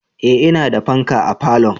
Eh ina da fanka a falo